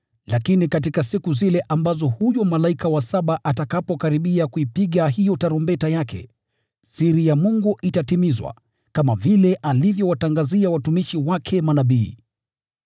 Lakini katika siku zile ambazo huyo malaika wa saba atakapokaribia kuipiga hiyo tarumbeta yake, siri ya Mungu itatimizwa, kama vile alivyowatangazia watumishi wake manabii.”